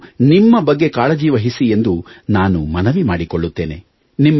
ನೀವು ನಿಮ್ಮ ಬಗ್ಗೆ ಕಾಳಜಿವಹಿಸಿ ಎಂದು ನಾನು ಮನವಿ ಮಾಡಿಕೊಳ್ಳುತ್ತೇನೆ